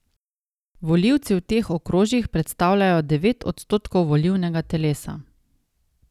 Volivci v teh okrožjih predstavljajo devet odstotkov volilnega telesa.